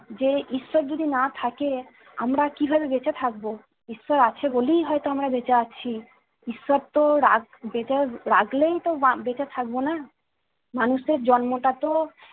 যে ঈশ্বর যদি না থাকে আমরা কিভাবে বেঁচে থাকবো! ঈশ্বর আছে বলেই হয়তো আমরা বেঁচে আছি। ঈশ্বর তো রাগ যেটা রাগলেই তো বেঁচে থাকবো না। মানুষের জন্মটা তো